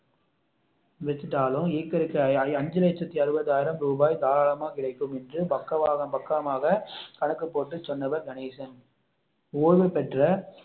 வச்சிட்டாலும் ஏக்கருக்கு அஞ்சு லட்சத்து அறுபது ஆயிரம் ரூபாய் தாராளமா கிடைக்கும் என்று பக்கம் பக்கமாக கணக்கு போட்டு சொன்னவர் கணேசன் ஓய்வு பெற்ற